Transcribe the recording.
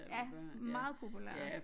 Ja meget populært